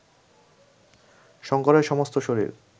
শঙ্করের সমস্ত শরীর